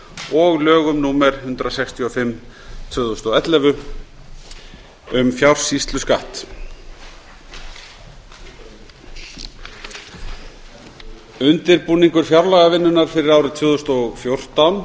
og lögum númer eitt hundrað sextíu og fimm tvö þúsund og ellefu um fjársýsluskatt undirbúningur fjárlagavinnunnar fyrir árið tvö þúsund og fjórtán